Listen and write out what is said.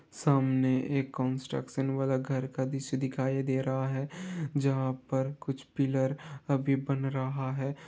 सामने एक कंस्ट्रक्शन वाला घर का दृश्य दिखाई दे रहा है जहां पर कुछ पिलर अभी बन रहा है।